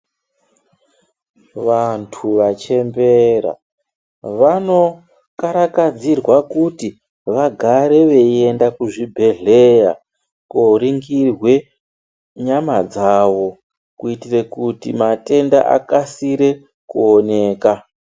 Vantu vachembera, vanokarakadzirwa kuti vagare veyienda kuzvibhedhleya, koringirwe nyama dzavo, kuyitire kuti matenda akasire kuoneka.